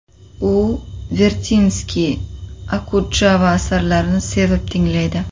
U Vertinskiy, Okudjava asarlarini sevib tinglaydi.